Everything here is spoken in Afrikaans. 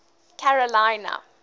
karolina